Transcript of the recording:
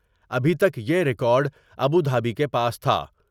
ابھی تک یہ یکارڈ ابودھابی کے پاس تھا ۔